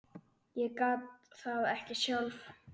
Ég gat það ekki sjálf.